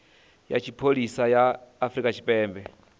ya tshipholisa ya afrika tshipembe